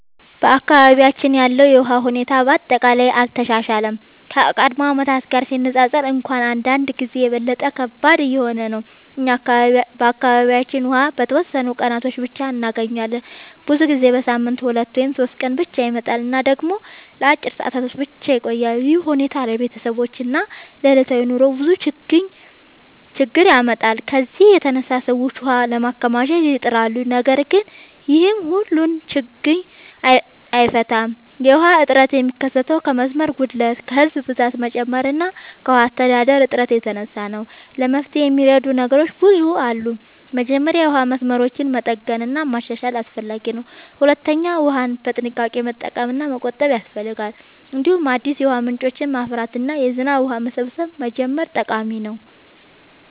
በአካባቢያችን ያለው የውሃ ሁኔታ በአጠቃላይ አልተሻሻለም፤ ከቀድሞ ዓመታት ጋር ሲነፃፀር እንኳን አንዳንድ ጊዜ የበለጠ ከባድ እየሆነ ነው። እኛ በአካባቢያችን ውሃ በተወሰኑ ቀናት ብቻ እንገኛለን፤ ብዙ ጊዜ በሳምንት 2 ወይም 3 ቀን ብቻ ይመጣል እና ደግሞ ለአጭር ሰዓታት ብቻ ይቆያል። ይህ ሁኔታ ለቤተሰቦች እና ለዕለታዊ ኑሮ ብዙ ችግኝ ያመጣል። ከዚህ የተነሳ ሰዎች ውሃ ለማከማቸት ይጥራሉ፣ ነገር ግን ይህም ሁሉን ችግኝ አይፈታም። የውሃ እጥረት የሚከሰተው ከመስመር ጉድለት፣ ከህዝብ ብዛት መጨመር እና ከውሃ አስተዳደር እጥረት የተነሳ ነው። ለመፍትሄ የሚረዱ ነገሮች ብዙ አሉ። መጀመሪያ የውሃ መስመሮችን መጠገን እና ማሻሻል አስፈላጊ ነው። ሁለተኛ ውሃን በጥንቃቄ መጠቀም እና መቆጠብ ያስፈልጋል። እንዲሁም አዲስ የውሃ ምንጮችን ማፍራት እና የዝናብ ውሃ መሰብሰብ መጀመር ጠቃሚ ነው።